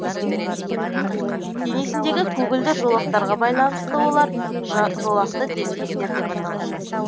денесіндегі көгілдір жолақтарға байланысты олар жолақты дельфиндер деп аталады